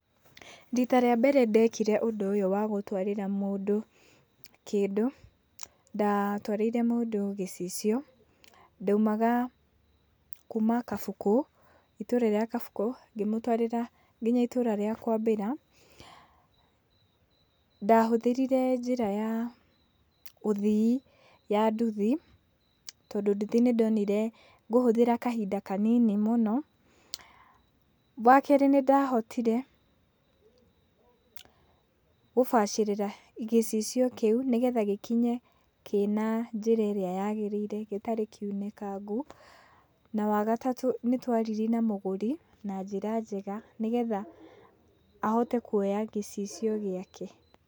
Rita rĩa mbere ndekire ũndũ ũyũ wa gũtwarĩra mũndũ kĩndũ, ndatwarĩire mũndũ gĩcicio. Ndaumaga kuma Kabukũ, itũra rĩa Kabukũ, ngĩmũtwarĩra kinya itũra rĩa Kwambĩra. Ndahũthĩrire njĩra ya ũthii ya nduthi, tondũ nduthi nĩndonire ngũhũthĩra kahinda kanini mũno. Wa kerĩ, nĩndahotire gũbacĩrĩra gĩcicio kĩu, nĩgetha gĩkinye kĩna njĩra ĩrĩa yagĩrĩire gĩtarĩ kĩunĩkangu. Na wa gatatũ, nĩtwaririe na mũgũri na njĩra njega, nĩgetha ahote kuoya gĩcicio gĩake.